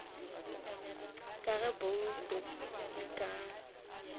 ga ge bouto e ka